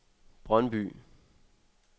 Brøndby